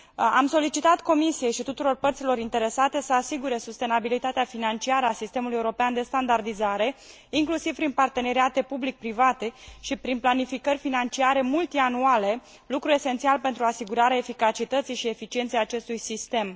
Am solicitat Comisiei și tuturor părților interesate să asigure sustenabilitatea financiară a sistemului european de standardizare, inclusiv prin parteneriate public private și prin planificări financiare multianuale, lucru esențial pentru asigurarea eficacității și eficienței acestui sistem.